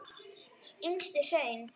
Yngstu hraun